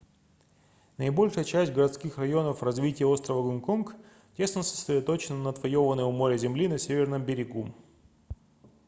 наибольшая часть городских районов развития острова гонконг тесно сосредоточено на отвоёванной у моря земли на северном берегу